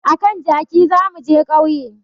A kan jaki za mu je ƙauye